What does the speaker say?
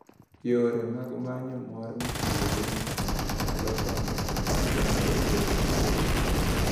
Yore mag manyo mor mitiyogo gi Kich nyalo konyo e miyo oganda obed motegno.